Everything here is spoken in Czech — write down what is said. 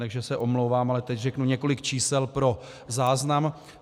Takže se omlouvám, ale teď řeknu několik čísel pro záznam.